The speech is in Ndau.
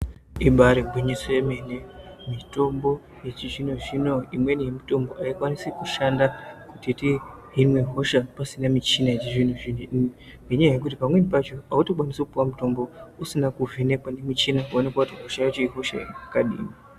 Ibari gwinyiso yemene mitombo yechizvino zvino imweni yemitombo aikwanisi kushanda kuti tihine hosha pasina muchina yechizvino zvino ngenyaya pamweni pacho autokwanisi kupuwa mutombo usina kuvhenekwa nemuchina woonekwa kuti hosha yacho ihosha yakadini.